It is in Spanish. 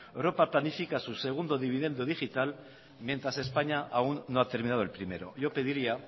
europa planifica su segundo dividendo digital mientras españa aún no ha terminado el primero yo pediría